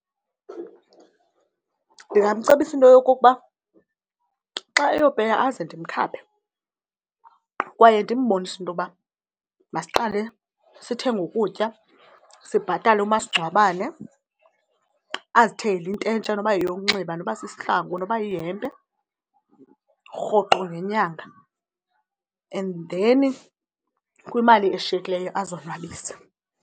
Ndingamcebisa into yokokuba xa eyopeya aze ndimkhaphe kwaye ndimbonise into yoba masiqale sithenge ukutya, sibhatale umasingcwabane, azithengele into entsha noba yeyonxiba, noba sisihlangu noba yihempe rhoqo ngenyanga. And then kwimali eshiyekileyo azonwabise.